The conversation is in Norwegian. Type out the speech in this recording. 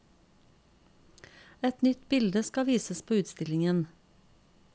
Et nytt bilde skal vises på utstillingen.